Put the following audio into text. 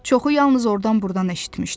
Çoxu yalnız ordan-burdan eşitmişdi.